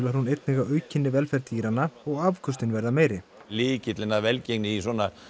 hún einnig að aukinni velferð dýranna og afköstin verða meiri lykillinn að velgengni í svona